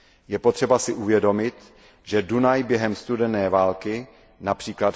Je potřeba si uvědomit, že Dunaj během studené války, např.